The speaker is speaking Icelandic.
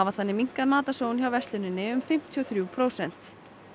þannig minnkað matarsóun hjá versluninni um fimmtíu og þrjú prósent